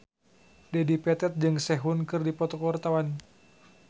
Dedi Petet jeung Sehun keur dipoto ku wartawan